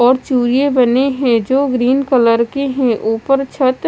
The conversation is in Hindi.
और चुरीया बनी है जो ग्रीन कलर की है ऊपर छत--